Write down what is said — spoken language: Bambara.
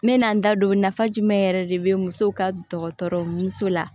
N mɛna n da don nafa jumɛn yɛrɛ de be musow ka dɔgɔtɔrɔ muso la